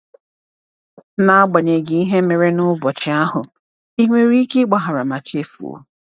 N’agbanyeghị ihe mere n’ụbọchị ahụ, ị nwere ike ịgbaghara ma chefuo?